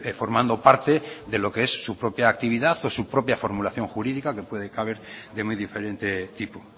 formando parte de lo que es su propia actividad o su propia formulación jurídica dentro de lo que cabe de muy diferente tipo